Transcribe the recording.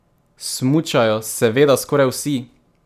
Smučajo seveda skoraj vsi!